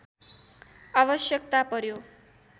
आवश्यकता पर्‍यो